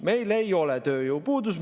Meil ei ole tööjõupuudust.